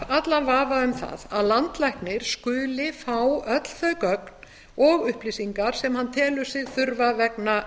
allan vafa um það að landlæknir skuli fá öll þau gögn og upplýsingar sem hann telur sig þurfa vegna